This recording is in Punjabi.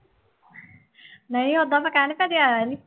ਨਹੀਂ ਓਦਾਂ ਤਾਂ ਆਇਆ ਨੀ